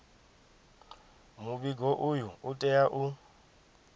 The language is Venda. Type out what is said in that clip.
muvhigo uyu u tea u